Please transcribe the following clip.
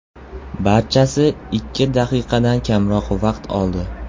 Barchasi ikki daqiqadan kamroq vaqt oldi.